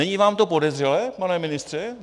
Není vám to podezřelé, pane ministře?